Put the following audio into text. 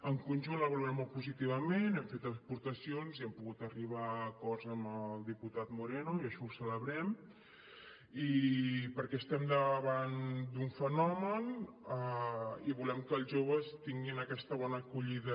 en conjunt la valorem molt positivament hem fet aportacions i hem pogut arribar a acords amb el diputat moreno i això ho celebrem perquè estem davant d’un fenomen i volem que els joves tinguin aquesta bona acollida